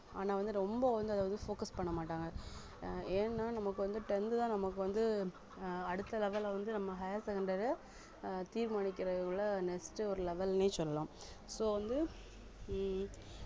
ஆனா வந்து ரொம்ப வந்து அத வந்து focus பண்ண மாட்டாங்க ஆஹ் ஏன்னா நமக்கு வந்து tenth தான் நமக்கு வந்து ஆஹ் அடுத்த level அ வந்து நம்ம higher secondary து அஹ் தீர்மானிக்கிறது next ஒரு level ன்னே சொல்லலாம் so வந்து உம்